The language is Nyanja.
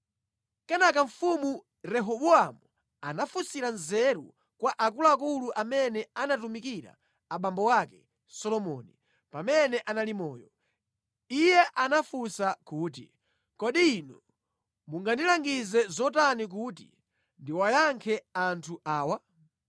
Kenaka mfumu Rehobowamu anafunsira nzeru kwa akuluakulu amene ankatumikira abambo ake, Solomoni, pamene anali moyo. Iye anafunsa kuti, “Kodi inu mungandilangize zotani kuti ndiwayankhe anthu awa?”